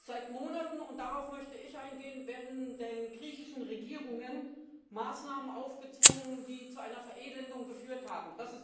Seit Monaten, und darauf möchte ich eingehen, werden den griechischen Regierungen Maßnahmen aufgezwungen, die zu einer Verelendung geführt haben.